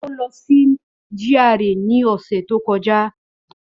Ó lọ sí GRA ní ọ̀sẹ̀ tó kọjá.